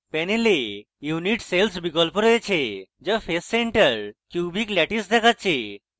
panel unit cell বিকল্প রয়েছে যা face center cubic ল্যাটিস দেখাচ্ছে